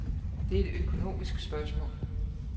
Det er et økonomisk spørgsmål.